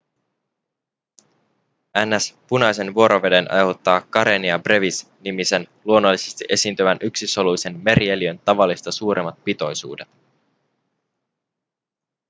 ns punaisen vuoroveden aiheuttaa karenia brevis nimisen luonnollisesti esiintyvän yksisoluisen merieliön tavallista suuremmat pitoisuudet